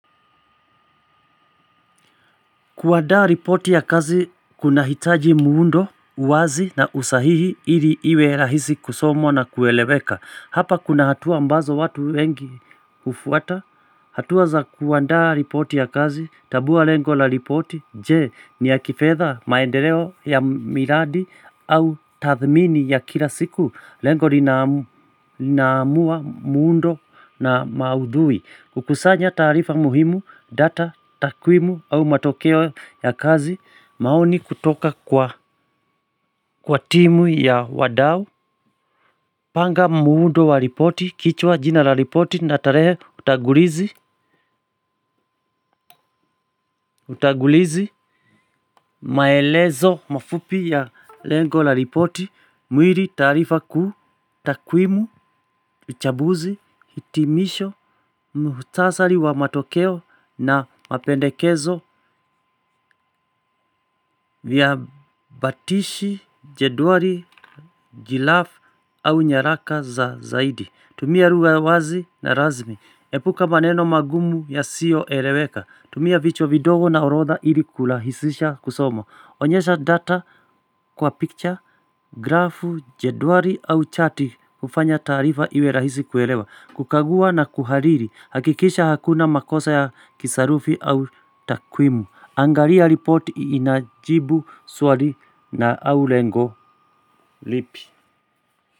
Kuadaa ripoti ya kazi kunahitaji muundo, uwazi na usahihi ili iwe rahisi kusomwa na kueleweka. Hapa kuna hatua ambazo watu wengi hufuata. Hatua za kuandaa ripoti ya kazi tabua lengo la ripoti je ni ya kifedha maendeleo ya miradi au tathmini ya kila siku lengo linaamua muundo na maudhui. Kukusanya taarifa muhimu data takwimu au matokeo ya kazi maoni kutoka kwa kwa timu ya wadau. Panga muundo wa ripoti kichwa jina la ripoti na tarehe utagulizi. Utagulizi maelezo mafupi ya lengo la ripoti. Mwili taarifa kuu, takwimu, uchabuzi, hitimisho, muhutasari wa matokeo na mapendekezo. Vyabatishi, jedwali, jilaf au nyaraka za zaidi tumia lugha wazi na razmi epuka maneno magumu yasio eleweka. Tumia vichwa vidogo na orodha ili kulahisisha kusoma onyesha data kwa picture, grafu, jedwali au chati hufanya taarifa iwe rahisi kuelewa. Kukagua na kuhariri. Hakikisha hakuna makosa ya kisarufi au takwimu angalia ripoti inajibu swali na au lengo lipi.